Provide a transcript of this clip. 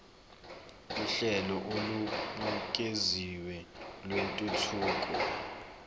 uhlelo olubukeziwe lwentuthuko